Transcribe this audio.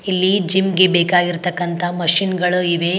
ಇಲ್ಲಿ ಜಿಮ್ ಗೆ ಬೇಕಾಗಿರ್ತಕ್ಕಂತ ಮಷಿನ್ ಗಳು ಇವೆ.